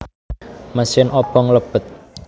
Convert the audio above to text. Mesin obong lebet